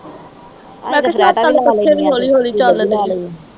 ਪੱਖੇ ਵੀ ਹੌਲੀ-ਹੌਲੀ ਚੱਲਦੇ ਆ।